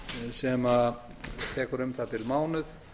sem tekur um það bil mánuð